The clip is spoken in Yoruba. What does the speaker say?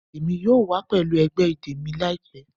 Emi yoo wa pẹlu ẹgbẹ idẹ mi laipẹ